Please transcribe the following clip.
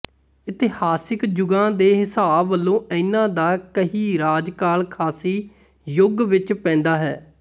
ਇਤਿਹਾਸਿਕ ਜੁਗਾਂ ਦੇ ਹਿਸਾਬ ਵਲੋਂ ਇਨ੍ਹਾਂ ਦਾ ਕਹੀ ਰਾਜਕਾਲ ਕਾਂਸੀ ਯੁੱਗ ਵਿੱਚ ਪੈਂਦਾ ਹੈ